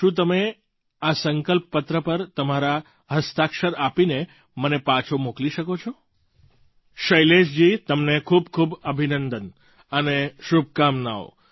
શું તમે આ સંકલ્પપત્ર પર તમારા હસ્તાક્ષર આપીને મને પાછો મોકલી શકો છો શૈલેશજી તમને ખૂબ ખૂબ અભિનંદન અને શુભકામનાઓ